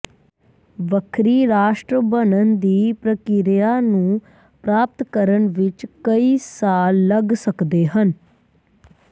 ਵੱਖਰੀ ਰਾਸ਼ਟਰ ਬਣਨ ਦੀ ਪ੍ਰਕਿਰਿਆ ਨੂੰ ਪ੍ਰਾਪਤ ਕਰਨ ਵਿਚ ਕਈਂ ਸਾਲ ਲੱਗ ਸਕਦੇ ਹਨ